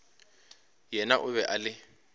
yena o be a le